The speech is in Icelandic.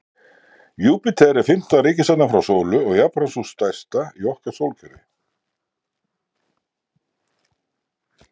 júpíter er fimmta reikistjarnan frá sólu og jafnframt sú stærsta í okkar sólkerfi